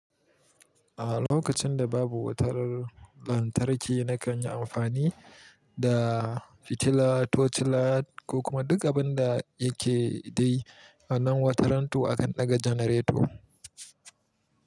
A lokacin da babu wutar lantarki na kan yi amfani da fitila, tocila ko kuma duk abin da yake dai a nan wataran to akan ɗaga janareto.